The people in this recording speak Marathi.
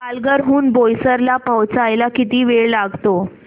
पालघर हून बोईसर ला पोहचायला किती वेळ लागतो